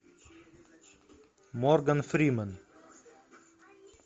морган фримен